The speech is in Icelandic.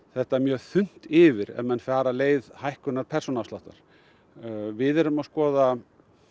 þetta mjög þunnt yfir ef menn fara leið hækkunar persónuafsláttar við erum að skoða